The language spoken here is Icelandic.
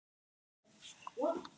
Það var ekki verra.